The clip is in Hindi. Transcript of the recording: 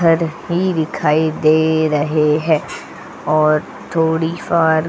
घर ही दिखाई दे रहे हैं और थोड़ी बार.